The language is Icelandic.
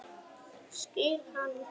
Skil hann ekki alveg.